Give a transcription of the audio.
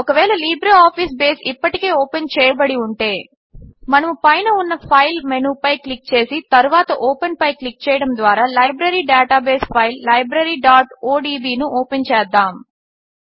ఒకవేళ LibreOffice Base ఇప్పటికే open చేయబడి ఉంటే మనము పైన ఉన్న ఫైల్ మెనూపై క్లిక్ చేసి తరువాత ఓపెన్ పై క్లిక్ చేయడము ద్వారా లైబ్రరీ డేటాబేస్ ఫైల్ libraryఒడిబి ను ఓపెన్ చేద్దాము